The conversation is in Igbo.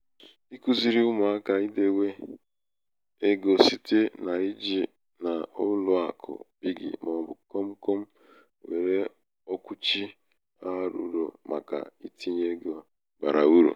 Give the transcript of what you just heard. ikuziri ụmụaka idēwē ikuziri ụmụaka idēwē egō site n’ijì̀ n’ụlọ̄àkụ piggy màọ̀bụ̀ komkom nwere okwùchi a rụ̀rụ̀ màkà itīnyē egō bàrà urù.